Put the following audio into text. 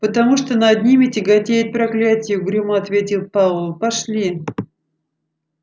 потому что над ними тяготеет проклятие угрюмо ответил пауэлл пошли